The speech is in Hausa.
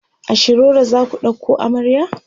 a shiroro zaku ɗauko amarya?